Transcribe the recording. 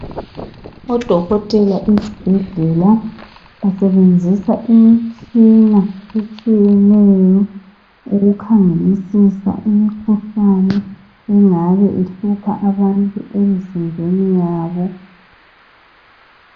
Odokotela esibhedlela basebenzisa imitshina etshiyeneyo ukukhangelisisa imikhuhlane engabe ihlupha abantu emzimbeni yabo.